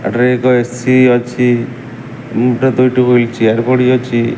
ଏଠାରେ ଏକ ଏସି ଅଛି ଓମ ଦୁଇଟି ହୁଇଲ୍ ଚେୟାର ପଡ଼ି ଅଛି।